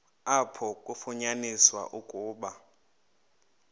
apho kwafunyaniswa ukuba